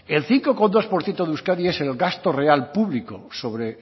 el cinco coma dos por ciento de euskadi es el gasto real público sobre